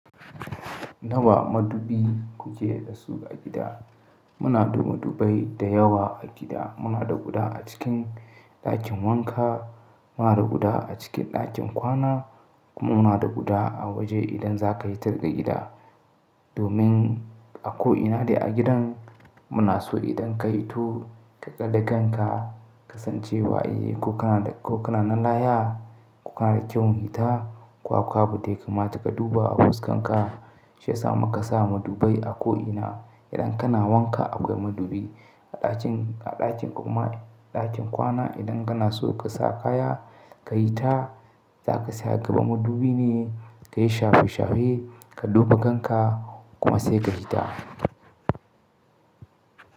Nawa madubi kuke da su a gida? Muna da madubai da yawa a gida. Muna da guda a cikin ɗakin wanka, muna da guda a cikin ɗakin kwana kuma muna da guda a waje idan za ka yi ta daga gida. Domin a ko'ina ne a gidan muna so idan ka hito ka ƙadaga kanka kasancewa, eh ko kana nan lahiya, ko kana da kyawun hita, ko akwai abunda yakamata ka duba a fuskarka shiyasa muka sa madubai a ko'ina. Idan kana wanka akwai madubi a ɗakin kuma a ɗakin kwana. Idan kana so ka sa kaya ka yi ta, za ka tsaya a gaban madubi ne ka yi shafe-shafe ka duba kanka kuma sai ka yi ta.